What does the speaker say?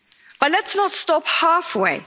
But let's not stop halfway.